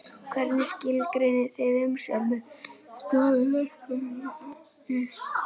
Hvernig skilgreinið þið umsjón með stofu, verkfærum og efni?